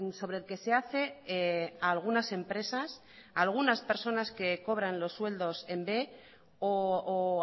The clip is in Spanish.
sobre el que se hace a algunas empresas a algunas personas que cobran los sueldos en b o